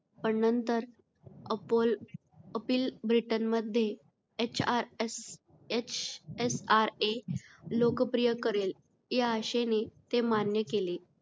पण नंतर अपोल अपील ब्रिटनमध्ये hrshsra लोकप्रिय करेल या आशेने ते मान्य केले.